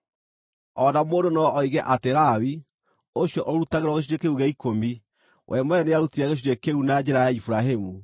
O na mũndũ no oige atĩ Lawi, ũcio ũrutagĩrwo gĩcunjĩ kĩu gĩa ikũmi, we mwene nĩarutire gĩcunjĩ kĩu na njĩra ya Iburahĩmu,